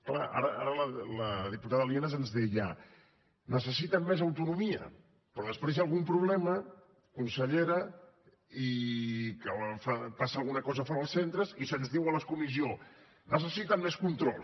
clar ara la diputada lienas ens deia necessiten més autonomia però després hi ha algun problema consellera que passa alguna cosa fora els centres i se’ns diu a la comissió necessiten més control